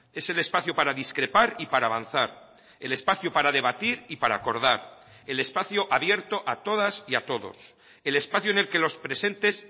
es el espacio para discrepar y para avanzar el espacio para debatir y para acordar el espacio abierto a todas y a todos el espacio en el que los presentes